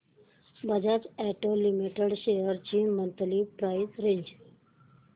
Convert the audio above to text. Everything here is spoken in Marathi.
बजाज ऑटो लिमिटेड शेअर्स ची मंथली प्राइस रेंज